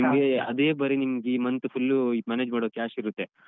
ನಿಮ್ಗೆ ಅದೇ ಬರಿ ನಿಮ್ಗೆ ಈ month full manage ಮಾಡ್ಲಿಕ್ಕೆ cash ಇರುತ್ತೆ.